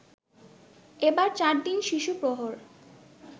এবার ৪ দিন শিশুপ্রহর